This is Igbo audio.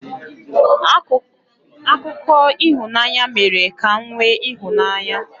Akụkọ ịhụnanya mere ka m nwee ịhụnanya.